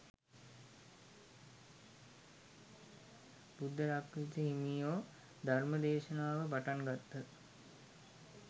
බුද්ධරක්ඛිත හිමියෝ ධර්ම දේශනාව පටන් ගත්හ.